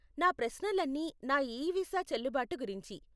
నా ప్రశ్నలన్నీ నా ఈ వీసా చెల్లుబాటు గురించి.